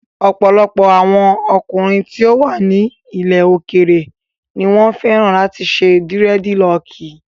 Ọ̀pọ̀lọpọ̀ àwọn ọkùnrin tí ó wà ní ilẹ̀ òkèèrè ni wọ́n fẹ́ràn láti ṣe dírẹ́dilọọkì.